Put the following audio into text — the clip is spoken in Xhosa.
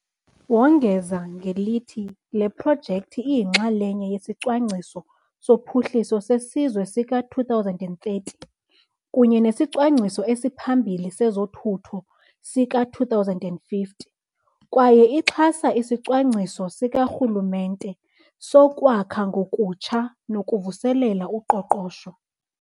Wongeza ngelithi le projekthi iyinxalenye yeSicwangciso soPhuhliso seSizwe sika-2030 kunye nesiCwangciso esiPhambili sezoThutho sika-2050 kwaye ixhasa isiCwangciso Sikarhulumente soKwakha Ngokutsha nokuVuselela uQoqosho.